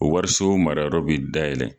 O wariso marayɔrɔ be da yɛlɛ